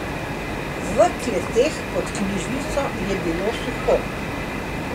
V kleteh pod knjižnico je bilo suho.